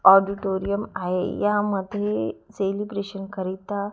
Auditorium आहे. यामध्ये celebration करिता--